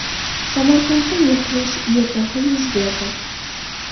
Samarqandda mudhish YTH yuz berdi .